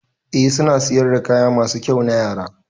Eh suna siyar da kaya masu kyau na Yara.